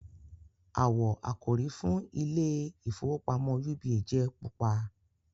awọ àkòrí fún ìIlé ìfowópamọ́ UBA jẹ pupa.